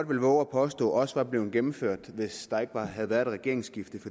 vil vove at påstå også var blevet gennemført hvis der ikke havde været et regeringsskifte